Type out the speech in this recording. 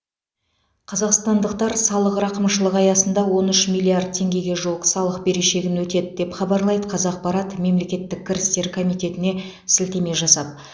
қазақстандықтар салық рақымшылығы аясында он үш миллиард теңгеге жуық салық берешегін өтеді деп хабарлайды қазақпарат мемлекеттік кірістер комитетіне сілтеме жасап